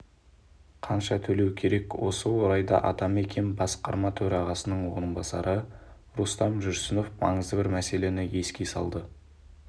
қанша төлеу керек осы орайда атамекен басқарма төрағасының орынбасары рустам жүрсінов маңызды бір мәселені еске салды